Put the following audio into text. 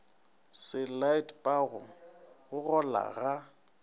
se laetpago go gola ga